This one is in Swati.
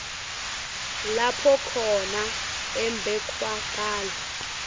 lapho khona umbekwacala